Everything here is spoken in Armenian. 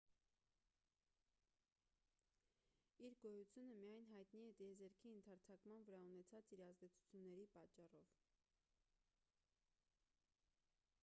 իր գոյությունը միայն հայտնի է տիեզերքի ընդարձակման վրա ունեցած իր ազդեցությունների պատճառով